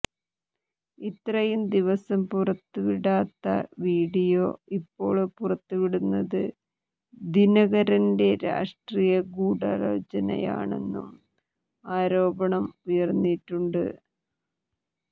ഇത്രയും ദിവസം പുറത്തുവിടാത്ത വീഡിയോ ഇപ്പോള് പുറത്തുവിടുന്നത് ദിനകരന്റെ രാഷ്ട്രീയ ഗൂഢാലോചനയാണെന്നും ആരോപണം ഉയര്ന്നിട്ടുണ്ട്